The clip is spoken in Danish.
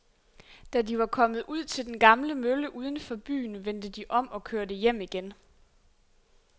Da de var kommet ud til den gamle mølle uden for byen, vendte de om og kørte hjem igen.